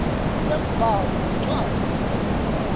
lwembhalo nencwadzi lefundvwako